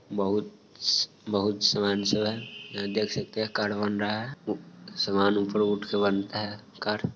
बहुत स बहुत है एंड देख सकते है कार हौंडा है सामान ऊपर बनता है।